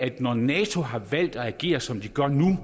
når nato har valgt at agere som de gør nu